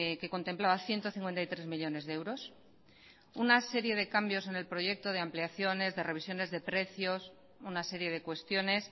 que contemplaba ciento cincuenta y tres millónes de euros una serie de cambios en el proyecto de ampliaciones de revisiones de precios una serie de cuestiones